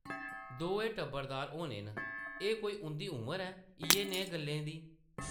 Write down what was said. दोऐ टब्बरदार होने न; एह् कोई उंʼदी उमर ऐ, इʼयै नेही गल्लें दी ?